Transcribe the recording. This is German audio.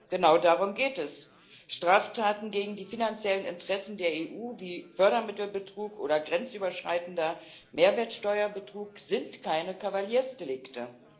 Genau darum geht es Straftaten gegen die finanziellen Interessen der EU wie Fördermittelbetrug oder grenzüberschreitender Mehrwertsteuerbetrug sind keine Kavaliersdelikte!